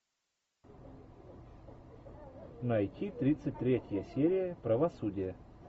найти тридцать третья серия правосудие